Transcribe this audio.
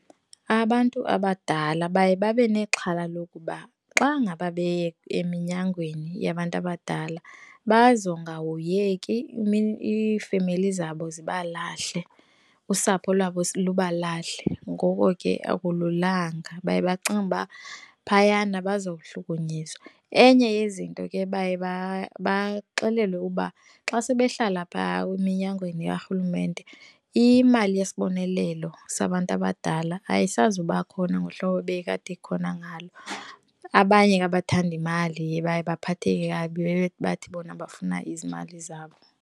Abantu abadala baye babe nexhala lokuba xa ngaba beye eminyangweni yabantu abadala bazongahoyeki iifemeli zabo zibalahle, usapho lwabo lubalahle. Ngoko ke, akululanga. Baye bacinge ba phayana baza kuhlukunyezwa. Enye yezinto ke baye babaxelelwe uba xa sebehlala phaa eminyangweni karhulumente imali yesibonelelo sabantu abadala ayisazuba khona ngohlobo bekade khona ngalo. Abanye ke, abathandi mali baye baphatheke kabi bathi bona abafuna izimali zabo.